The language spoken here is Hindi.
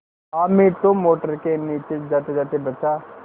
हामिद तो मोटर के नीचे जातेजाते बचा